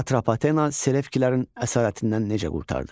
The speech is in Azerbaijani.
Atropatena Selevkilərin əsarətindən necə qurtardı?